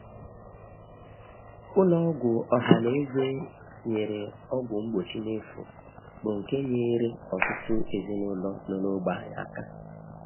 Ụlọ ọgwụ ọha na-enye ọgwụ mgbochi n'efu, bụ́ nke nyeere ọtụtụ ezinụlọ nọ n'ógbè anyị aka.